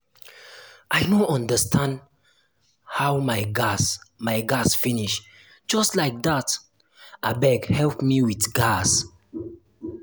i no understand how my gas my gas finish just like dat abeg help me with gas